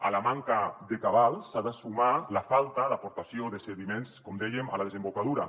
a la manca de cabals s’ha de sumar la falta d’aportació de sediments com dèiem a la desembocadura